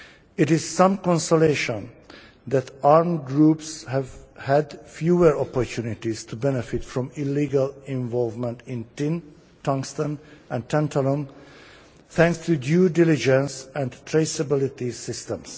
It is of some consolation that armed groups have had fewer opportunities to benefit from illegal involvement in tin, tungsten and tantalum, thanks to due diligence and traceability systems.